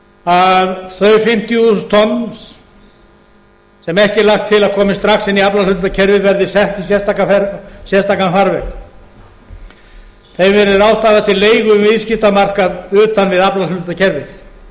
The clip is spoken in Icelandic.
að þau fimmtíu þúsund tonn sem ekki er lagt til að komi strax inn í aflahlutdeildarkerfið verði sett í sérstakan farveg þeim verði ráðstafað til leigu um viðskiptamarkað utan við aflakerfið